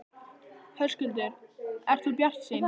Höskuldur: Ert þú bjartsýn?